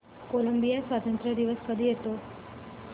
Colombia स्वातंत्र्य दिवस कधी येतो